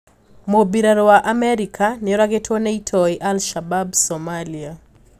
Mũmbirarũ wa Amerika nioragitwo ni itoi al-Shabab Somalia.